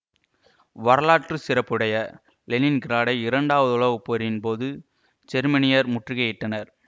வரலாற்று சிறப்புடைய லெனின்கிராடை இரண்டாவது உலகப்போரின் போது ஜெர்மனியர் முற்றுகை இட்டனர்